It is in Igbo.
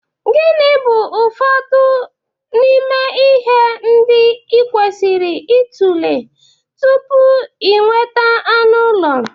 Gịnị bụ ụfọdụ n'ime ihe ndị ị kwesịrị ịtụle tupu ị nweta anụ ụlọ?